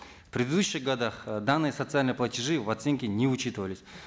в предыдущих годах э данные социальные платежи в оценке не учитывались